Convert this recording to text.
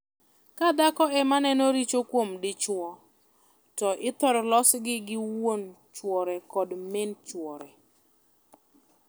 Ka dhako ema neno richo kuom dichwo, to ithor losgi gi wuon chuore kod min chuore.